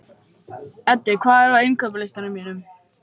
Eddi, hvað er á innkaupalistanum mínum?